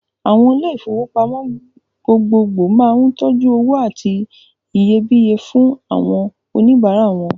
Àwọn ilé-ìfowópamọ́ gbogbogbò máa ń tọ́jú owó àti iyebíye fún àwọn oníbàárà wọn.